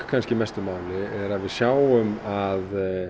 mestu máli er að við sjáum að